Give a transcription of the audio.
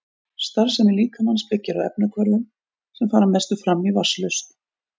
Starfsemi líkamans byggir á efnahvörfum sem fara að mestu fram í vatnslausn.